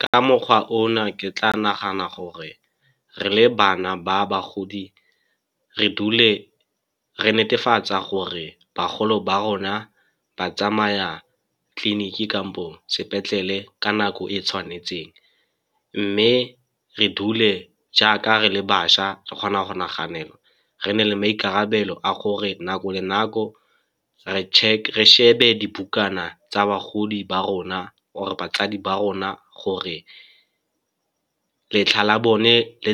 Ka mokgwa ona ke tla nagana gore, re le bana ba bagodi re dule re netefatsa gore bagolo ba rona ba tsamaya tleliniki kampo sepetlele ka nako e e tshwanetseng. Mme re dule jaaka re le bašwa re kgona go naganela, re nne le maikarabelo a gore nako le nako re check, re shebe dibukana tsa bagodi ba rona or-e batsadi ba rona gore letlha la bone le